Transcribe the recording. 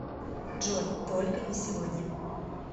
джой только не сегодня